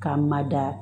K'a mada